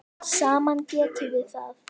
Saman getum við það.